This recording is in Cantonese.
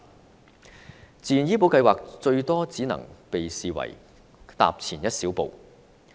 推行自願醫保計劃，最多只能被視為踏前一小步。